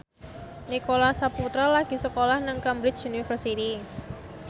Nicholas Saputra lagi sekolah nang Cambridge University